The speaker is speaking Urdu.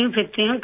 پھرتی ہوں